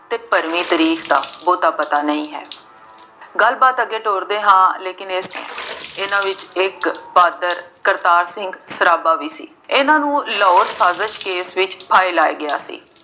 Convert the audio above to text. ਅਤੇ ਭਰਵੀ ਤਾਰੀਖ ਦਾ ਬਹੁਤ ਪਤਾ ਨਹੀਂ ਹੈ। ਗੱਲਬਾਤ ਅੱਗੇ ਤੋਰਦੇ ਹਾਂ ਲੇਕਿਨ ਇਸ ਲਈ, ਇਹਨਾ ਵਿੱਚ ਇੱਕ ਪਾਤਰ ਕਰਤਾਰ ਸਿੰਘ ਸਰਾਭਾ ਵੀ ਸੀ। ਇਹਨਾ ਨੂੰ ਲਾਹੌਰ ਸਾਜਿਸ਼ ਕੇਸ ਵਿੱਚ ਫਾਹੇ ਲਾਇਆ ਗਿਆ ਸੀ।